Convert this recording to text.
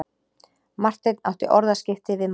Marteinn átti orðaskipti við manninn.